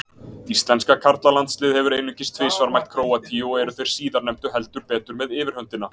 Íslenska karlalandsliðið hefur einungis tvisvar mætt Króatíu og eru þeir síðarnefndu heldur betur með yfirhöndina.